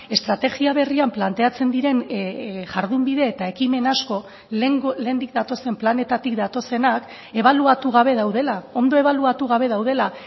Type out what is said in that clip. estrategia berrian planteatzen diren jardunbide eta ekimen asko lehendik datozen planetatik datozenak ebaluatu gabe daudela ondo ebaluatu gabe daudela